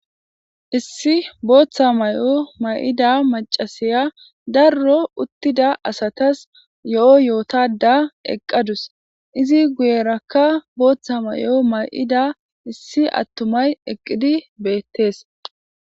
Issi booththa may7o may7ida macasiya darro uttida asatas yo7o yootada eqqadus izi guyerakka booththa may7o may7ida issi attumay eqqidi beettees.